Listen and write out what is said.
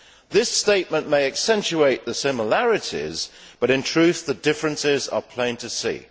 This statement may accentuate the similarities, but in truth the differences are plain to see.